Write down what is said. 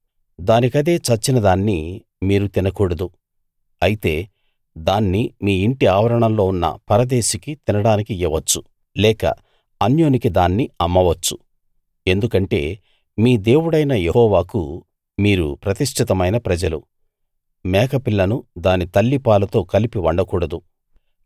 దానికదే చచ్చిన దాన్ని మీరు తినకూడదు అయితే దాన్ని మీ ఇంటి ఆవరణంలో ఉన్న పరదేశికి తినడానికి ఇయ్యవచ్చు లేక అన్యునికి దాన్ని అమ్మవచ్చు ఎందుకంటే మీ దేవుడైన యెహోవాకు మీరు ప్రతిష్ఠితమైన ప్రజలు మేకపిల్లను దాని తల్లి పాలతో కలిపి వండకూడదు